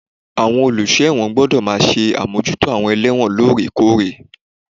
Àwọn olùsọ ẹ̀wọ̀n gbọ́dọ̀ máa ṣe àmójútó àwọn ẹlẹ́wọ̀n lórè kórè.